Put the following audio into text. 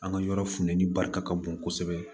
An ka yɔrɔ funteni barika ka bon kosɛbɛ